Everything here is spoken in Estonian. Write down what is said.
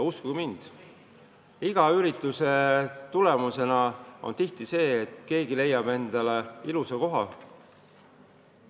Uskuge mind, iga niisuguse ürituse tulemus on tihti see, et keegi avastab mingi ilusa koha.